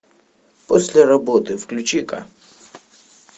после работы включи ка